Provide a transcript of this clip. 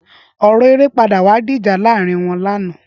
Ọrọ éré pàdá wà di ijà làárin wọn làná